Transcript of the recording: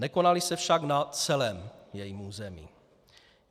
Nekonaly se však na celém jejím území.